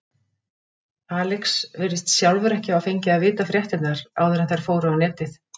Alex virðist sjálfur ekki hafa fengið að vita fréttirnar áður en þær fóru á netið.